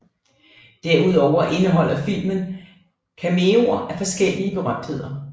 Derudover indeholder filmen cameoer af forskellige berømtheder